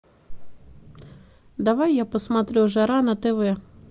давай я посмотрю жара на тв